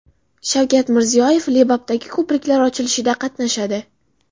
Shavkat Mirziyoyev Lebapdagi ko‘priklar ochilishida qatnashadi.